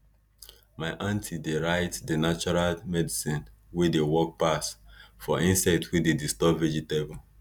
my aunty dey write di natural medicine wey dey work pass for insect wey dey disturb vegetable